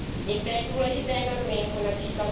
Některé důležité normy, jako např.